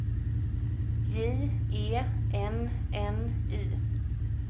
J E N N Y